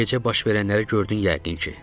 Gecə baş verənləri gördün yəqin ki.